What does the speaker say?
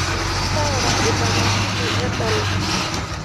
tanaara ina mashini edala